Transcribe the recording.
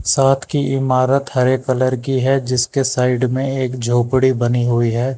साथ की इमारत हरे कलर की है जिसके साइड में एक झोपड़ी बनी हुई है।